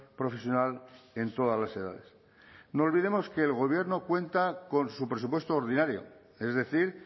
profesional en todas las edades no olvidemos que el gobierno cuenta con su presupuesto ordinario es decir